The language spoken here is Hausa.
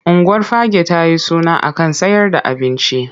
Unguwar Fagge ta yi suna a kan sayer da abinci.